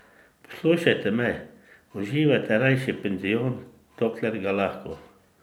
Poslušajte me, uživajte rajši penzion, dokler ga lahko ...